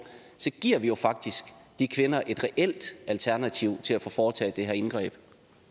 så giver vi jo faktisk de kvinder et reelt alternativ til at få foretaget det her indgreb